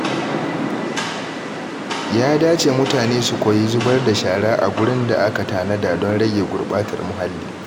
Ya dace mutane su koyi zubar da shara a gurin da aka tanada don rage gurɓatar muhalli.